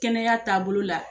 Kɛnɛya taabolo la.